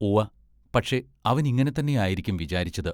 ഉവ്വ പക്ഷെ അവനങ്ങിനെ തന്നെയായിരിക്കും വിചാരിച്ചത്.